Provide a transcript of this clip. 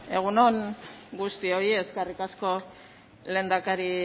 egun on guztioi eskerrik asko lehendakari